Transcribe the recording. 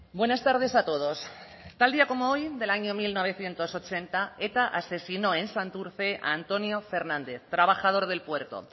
buenas tardes a todos tal día como hoy del año mil novecientos ochenta eta asesinó en santurce a antonio fernández trabajador del puerto